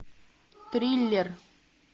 триллер